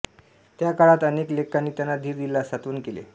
त्या काळात अनेक लेखकांनी त्यांना धीर दिला सांत्वन केले